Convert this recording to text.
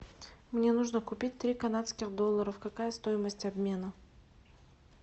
мне нужно купить три канадских доллара какая стоимость обмена